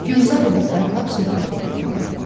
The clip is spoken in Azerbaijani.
Gülzar ilə Fərhad söhbət edirdilər.